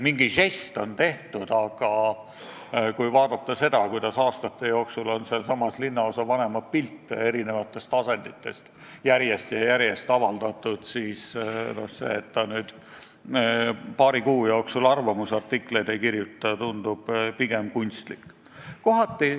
Mingi žest on ju tehtud, aga kui vaadata, kuidas aastate jooksul on nendes lehtedes ühes või teises asendis linnaosavanema pilte järjest ja järjest avaldatud, siis see, et ta nüüd paari kuu jooksul arvamusartikleid ei kirjuta, tundub pigem kunstlik.